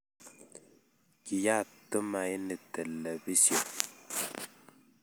Kiyat Tumaini telebision